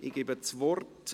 Ich gebe das Wort …